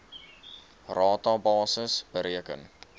rata basis bereken